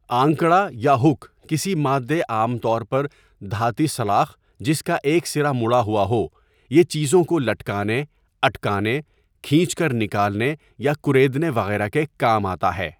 آنکڑا یا ہک کسی مادے عام طور پر دھاتی سلاخ جس کا ایک سرا مڑا ہوا ہو یہ چیزوں کے لٹکانے، اٹکانے، کھین٘چ کر نکالنے یا کریدنے وغیرہ کے کام آتا ہے.